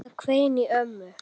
Það hvein í ömmu.